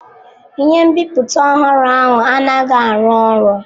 Ihe nbiputa ọhụrụ ahụ anaghị arụ ọrụ.